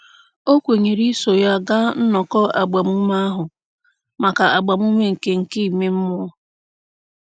O kwenyere iso ya gaa nnọkọ agbamume ahụ maka agbamume nke nke ime mmụọ.